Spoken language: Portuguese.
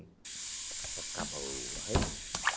É para ficar boa, hein?